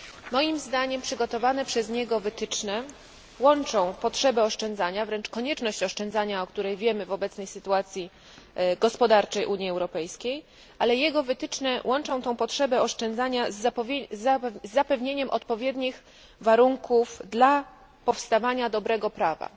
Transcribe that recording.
Moim zdaniem przygotowane przez niego wytyczne łączą potrzebę oszczędzania, wręcz konieczność oszczędzania, o której wiemy w obecnej sytuacji gospodarczej Unii Europejskiej, ale jego wytyczne łączą tę potrzebę oszczędzania z zapewnieniem odpowiednich warunków dla powstawania dobrego prawa.